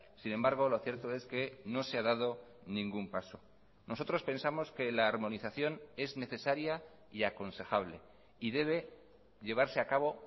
sin embargo lo cierto es que no se ha dado ningún paso nosotros pensamos que la armonización es necesaria y aconsejable y debe llevarse a cabo